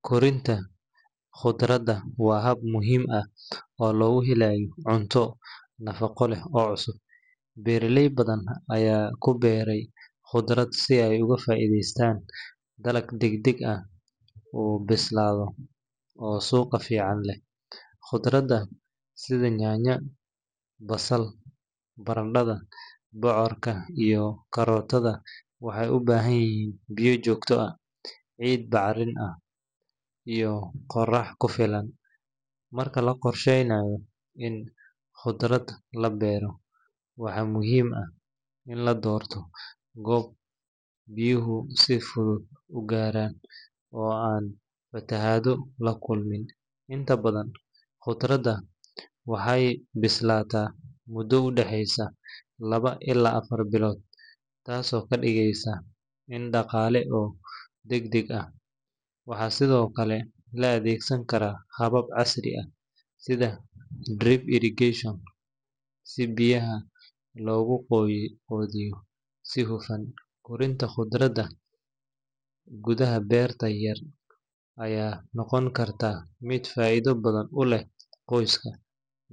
Korinta khudradda waa hab muhiim ah oo lagu helayo cunto nafaqo leh oo cusub. Beeraley badan ayaa ku beeray khudrad si ay uga faa’iideystaan dalag degdeg u bislaada oo suuq fiican leh. Khudradda sida yaanyada, basal, barandhada, bocorka, iyo karootada waxay u baahan yihiin biyo joogto ah, ciid bacrin ah, iyo qorax ku filan. Marka la qorsheynayo in khudrad la beero, waxaa muhiim ah in la doorto goob biyuhu si fudud u gaaraan oo aan fatahaado la kulmin. Inta badan khudradda waxay bislaadaan muddo u dhaxeysa laba ilaa afar bilood, taasoo ka dhigaysa il dhaqaale oo degdeg ah. Waxaa sidoo kale la adeegsan karaa habab casri ah sida drip irrigation si biyaha loogu qoondeeyo si hufan. Korinta khudradda gudaha beerta yar ayaa noqon karta mid faa’iido badan u leh qoyska,